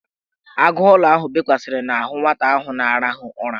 Agụụlọ ahụ bekwasara n'ahụ nwata ahụ na-arahụ ụra.